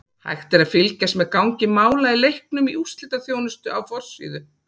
Hægt er að fylgjast með gangi mála í leiknum í úrslitaþjónustu á forsíðu.